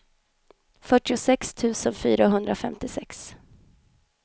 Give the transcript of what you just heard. fyrtiosex tusen fyrahundrafemtiosex